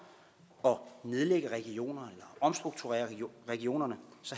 at nedlægge regionerne eller omstrukturere regionerne